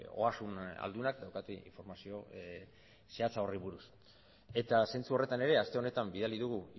ogasun aldunak daukate informazio zehatza horri buruz eta zentzu horretan ere aste honetan bidali dugu